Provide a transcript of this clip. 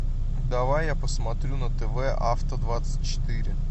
давай я посмотрю на тв авто двадцать четыре